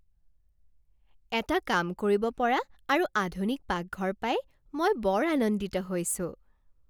এটা কাম কৰিব পৰা আৰু আধুনিক পাকঘৰ পাই মই বৰ আনন্দিত হৈছোঁ।